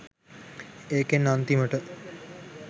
ඒකෙන් අන්තිමට